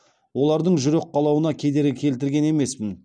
олардың жүрек қалауына кедергі келтірген емеспін